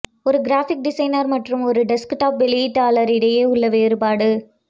ஒரு graphic designer மற்றும் ஒரு டெஸ்க்டாப் வெளியீட்டாளர் இடையே உள்ள வேறுபாடு